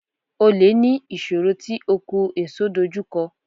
Olè ní ìṣòro tí oko èso dojú kọ.